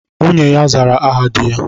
Nwunye ya zara aha dị ya